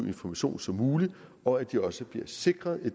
information som muligt og at de også bliver sikret i